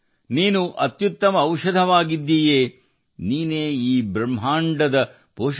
ನೀನೇ ಅತ್ಯುತ್ತಮ ಔಷಧ ಮತ್ತು ನೀನು ಈ ಬ್ರಹ್ಮಾಂಡದ ಪೋಷಕ